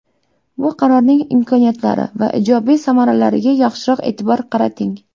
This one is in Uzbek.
Bu qarorning imkoniyatlari va ijobiy samaralariga yaxshiroq e’tibor qarating.